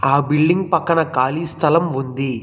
ఆ బిల్డింగ్ పక్కన ఖాళీ స్థలం ఉంది.